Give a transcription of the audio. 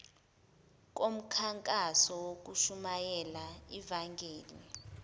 komkhankaso wokushumayela ivangeli